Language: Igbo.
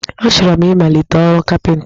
Achọrọ m ịmalite ọrụ kapịnta